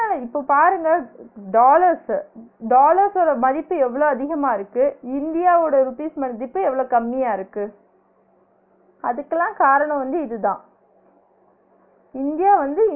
இப்ப பாருங்க dollars உ dollars ஓட மதிப்பு எவ்ளோ அதிகமா இருக்கு இந்தியாவோட rupees மதிப்பு எவ்ளோ கம்மியா இருக்கு அதுக்கெல்லா காரனோ வந்து இதுதான் இந்தியா வந்து